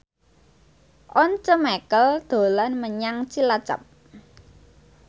Once Mekel dolan menyang Cilacap